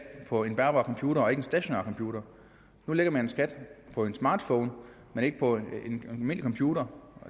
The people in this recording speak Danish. på en bærbar computer og ikke en stationær computer nu lægger man en skat på en smartphone men ikke på en almindelig computer